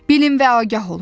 Bilin və agah olun.